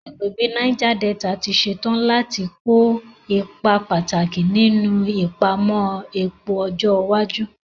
Agbègbè Niger Delta ti ṣetán láti kó ipa pàtàkì nínú ìpamọ́ epo ọjọ́ iwájú.